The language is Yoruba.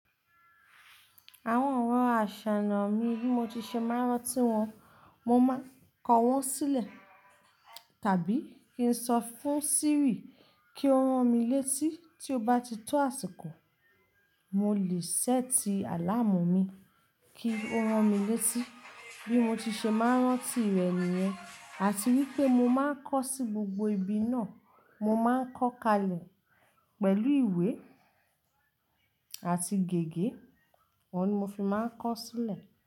Àwọn ọ̀rọ̀n àṣà nọ mi bí mo ti ṣe máa ń rántí wọn, mo máa ń kọ wọ́n sílẹ̀ tàbí kí n sọ fún Siri kí ó ran mi létí tí ó bá ti tó àsìkò. Mo le sẹ́tì àláámu mi kí ó ran mi létí bí mo ti ṣe máa ń rántí rẹ̀ nìyẹn àti wípé mo máa ń kọ sí gbogbo ibi náà. Mo máa ń kọ́ kalẹ̀ pẹ̀lú ìwé àti gègé, awọ́n ni mo fi máa ń kọ sílẹ̀.